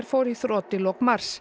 fór í þrot í lok mars